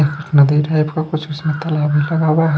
नदी टाइप में कुछ कुछ में ताला भी लगा हुआ है।